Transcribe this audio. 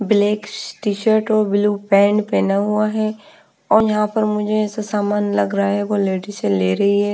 Black t-shirt और blue pant पहना हुआ है और यहाँ पर मुझे ऐसा सामान लग रहा है वो लेडी से ले रही है।